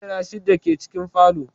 Kujeru shidda ke cikin falon